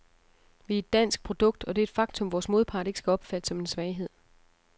Vi er et dansk produkt, og det er et faktum, vores modpart ikke skal opfatte som en svaghed.